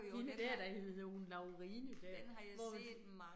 Hende der, der hed hun Laurine der, hvor vi